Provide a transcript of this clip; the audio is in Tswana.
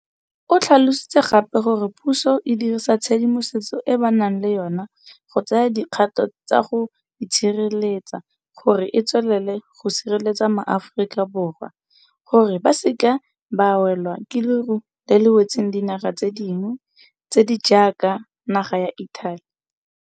O tlhalositse gape gore puso e dirisa tshedimosetso e ba nang le yona go tsaya dikgato tsa go itshireletsa gore e tswelele go sireletsa maAforika Borwa gore ba se ke ba welwa ke leru le le wetseng dinaga tse dingwe tse di jaaka naga ya Italy.